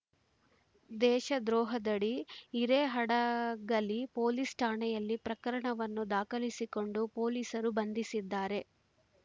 ದೇಶದ್ರೋಹದಡಿ Hirehadagali police ಠಾಣೆಯಲ್ಲಿ ಪ್ರಕರಣವನ್ನು ದಾಖಲಿಸಿಕೊಂಡು ಪೊಲೀಸರು ಬಂಧಿಸಿದ್ದಾರೆ